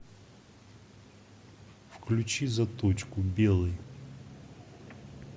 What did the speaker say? включи заточку белый